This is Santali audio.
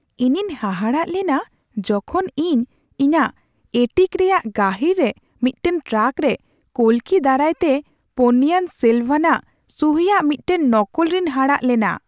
ᱤᱧᱤᱧ ᱦᱟᱦᱟᱲᱟᱜ ᱞᱮᱱᱟ ᱡᱚᱠᱷᱚᱱ ᱤᱧ ᱤᱧᱟᱹᱜ ᱮᱹᱴᱤᱠ ᱨᱮᱭᱟᱜ ᱜᱟᱹᱦᱤᱨ ᱨᱮ ᱢᱤᱫᱴᱟᱝ ᱴᱨᱟᱝᱠ ᱨᱮ ᱠᱚᱞᱠᱤ ᱫᱟᱨᱟᱭᱛᱮ ᱯᱳᱱᱱᱤᱭᱟᱱ ᱥᱮᱞᱵᱷᱟᱱᱟᱜ ᱥᱩᱦᱤᱭᱟᱜ ᱢᱤᱫᱴᱟᱝ ᱱᱚᱠᱚᱞ ᱨᱤᱧ ᱦᱟᱲᱟᱜ ᱞᱮᱱᱟ ᱾